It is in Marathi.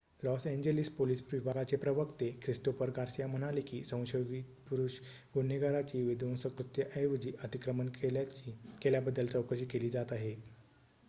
लॉस एंजेलिस पोलिस विभागाचे प्रवक्ते ख्रिस्तोफर गार्सिया म्हणाले की संशयित पुरुष गुन्हेगाराची विध्वंसक कृत्याऐवजी अतिक्रमण केल्याबद्दल चौकशी केली जात आहे